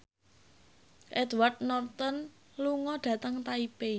Edward Norton lunga dhateng Taipei